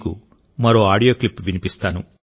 మీకు మరో audio clip వినిపిస్తాను